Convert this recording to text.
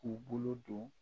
K'u bolo don